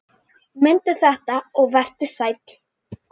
Mundu þetta og vertu sæll!